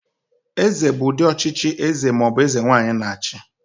Eze bụ ụdị ọchịchị eze ma ọ bụ eze nwaanyị na-achị.